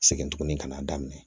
Segin tugunni ka n'a daminɛ